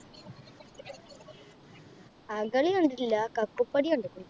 അകല് കണ്ടിട്ടില്ല കക്കപ്പടി കണ്ടിക്കിണ്